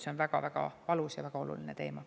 See on väga-väga valus ja väga oluline teema.